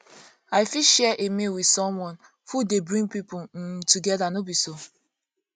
i fit share a meal with someone food dey bring pipo um together no be so